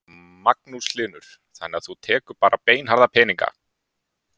Magnús Hlynur: Þannig að þú tekur bara beinharða peninga?